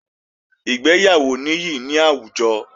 Ìgbéyàwó níyì ní àwùjọ